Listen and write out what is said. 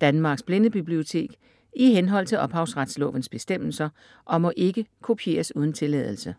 Danmarks Blindebibliotek i henhold til ophavsretslovens bestemmelser og må ikke kopieres uden tilladelse.